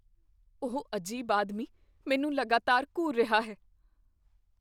ਉਹ ਅਜੀਬ ਆਦਮੀ ਮੈਨੂੰ ਲਗਾਤਾਰ ਘੂਰ ਰਿਹਾ ਹੈ।